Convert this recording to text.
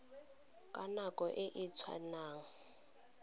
ka nako e e tshwanang